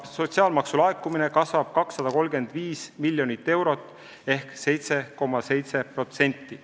Sotsiaalmaksu laekumine kasvab 235 miljonit eurot ehk 7,7%.